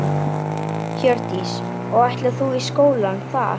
Hjördís: Og ætlar þú í skóla þar?